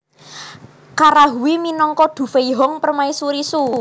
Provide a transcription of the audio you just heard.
Kara Hui minangka Du Feihong Permaisuri Shu